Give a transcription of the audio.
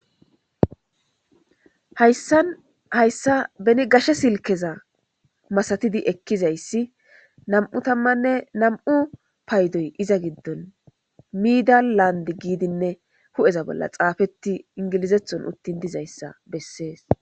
hayssan hayssa beni gashe silkeza masatidi ekkizayssi nam7u tammanne nam7u paydoy iza giddon miida laand giidinne hu7eza bolla xaafetti ingilizethon uttin dizayssa bessees